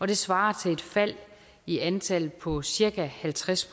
det svarer til et fald i antallet på cirka halvtreds